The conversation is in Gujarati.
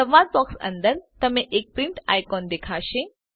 સંવાદ બોક્સ અંદર તમને એક પ્રિંટ આઇકોન દેખાશે